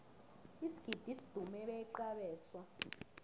isigidi sidumuze beqa abeswa